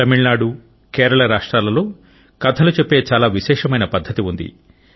తమిళనాడు కేరళ రాష్ట్రాలలో కథలు చెప్పే చాలా విశేషమైన పద్ధతి ఉంది